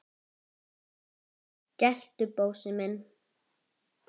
geltu, Bósi minn!